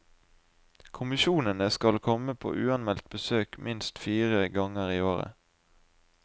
Kommisjonene skal komme på uanmeldte besøk minst fire ganger i året.